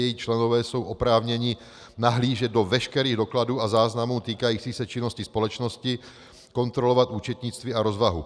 Její členové jsou oprávněni nahlížet do veškerých dokladů a záznamů týkajících se činnosti společnosti, kontrolovat účetnictví a rozvahu.